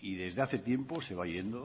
y desde hace tiempo se va yendo